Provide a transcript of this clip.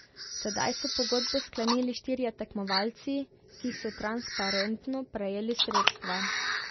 Tedaj so pogodbo sklenili štirje tekmovalci, ki so transparentno prejeli sredstva.